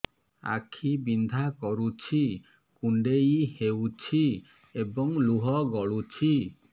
ଆଖି ବିନ୍ଧା କରୁଛି କୁଣ୍ଡେଇ ହେଉଛି ଏବଂ ଲୁହ ଗଳୁଛି